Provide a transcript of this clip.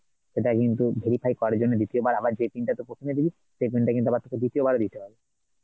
সেটা কিন্তু verify করার জন্যে দ্বিতীয়বার আবার যে pin টা তুই প্রথমে দিলি সেই pin টা কিন্তু আবার তোকে দ্বিতীয়বার দিতে হবে